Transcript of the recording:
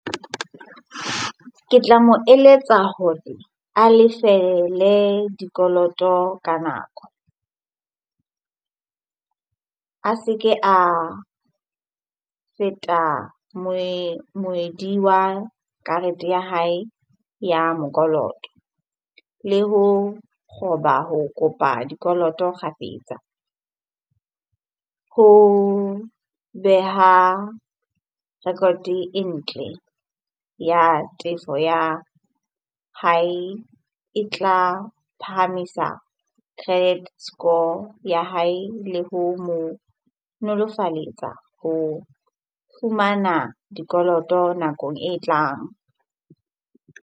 Ke tla mo eletsa hore a lefele dikoloto ka nako. A se ke a feta moedi wa karete ya hae ya mokoloto le ho kgoba, ho kopa dikoloto kgafetsa. Ho beha record-e ntle ya tefo ya hae e tla phahamisa credit score ya hae le ho mo nolofaletsa ho fumana dikoloto nakong e tlang.